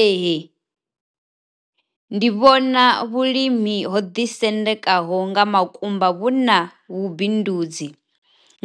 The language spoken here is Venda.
Ee, ndi vhona vhulimi ho ḓisendekaho nga makumba vhu na vhubindudzi